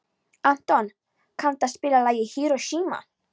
Anton, kanntu að spila lagið „Hiroshima“?